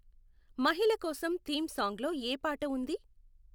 మహిళ కోసం theme song లో ఏ పాట ఉంది